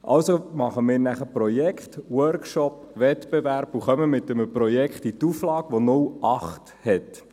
Also machen wir nachher Projekte, Workshops, Wettbewerbe und kommen mit einem Projekt in die Auflage, welches eine Ausnützungsziffer von 0,8 hat.